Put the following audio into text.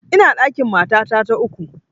Ina ɗakin matata ta uku